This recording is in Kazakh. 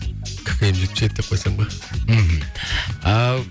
ккм жетпіс жеті деп қойсам ба мхм